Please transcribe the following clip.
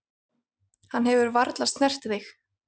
Hann hefur varla snert þig.